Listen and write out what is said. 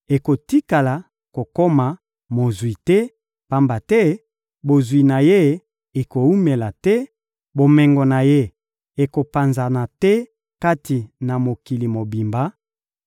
akotikala kokoma mozwi te, pamba te bozwi na ye ekowumela te, bomengo na ye ekopanzana te kati na mokili mobimba;